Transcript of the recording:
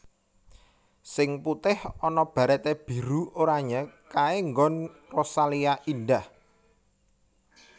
Sing putih ana barete biru oranye kae nggon Rosalia Indah